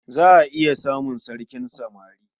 Za a iya samun sarkin samari.